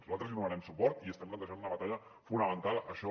nosaltres hi donarem suport i estem plantejant una batalla fonamental això